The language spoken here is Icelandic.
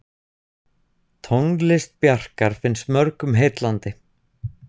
Tónlist Bjarkar finnst mörgum heillandi.